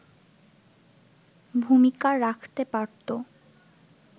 ভূমিকা রাখতে পারতো”